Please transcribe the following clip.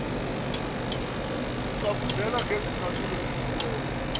kucabuzela ngezicathulo zesikole